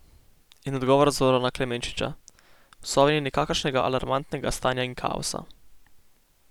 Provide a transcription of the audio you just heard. In odgovor Zorana Klemenčiča: 'V Sovi ni nikakršnega alarmantnega stanja in kaosa.